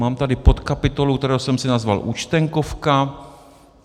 Mám tady podkapitolu, kterou jsem si nazval Účtenkovka.